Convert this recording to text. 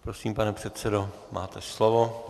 Prosím, pane předsedo, máte slovo.